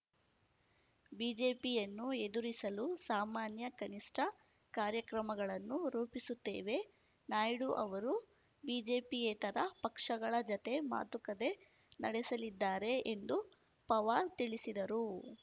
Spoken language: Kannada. ಬಿಜೆಪಿಯನ್ನು ಎದುರಿಸಲು ಸಾಮಾನ್ಯ ಕನಿಷ್ಠ ಕಾರ್ಯಕ್ರಮಗಳನ್ನು ರೂಪಿಸುತ್ತೇವೆ ನಾಯ್ಡು ಅವರು ಬಿಜೆಪಿಯೇತರ ಪಕ್ಷಗಳ ಜತೆ ಮಾತುಕತೆ ನಡೆಸಲಿದ್ದಾರೆ ಎಂದು ಪವಾರ್ ತಿಳಿಸಿದರು